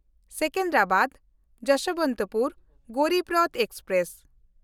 ᱥᱮᱠᱮᱱᱫᱨᱟᱵᱟᱫ–ᱡᱚᱥᱵᱚᱱᱛᱯᱩᱨ Garib Rath express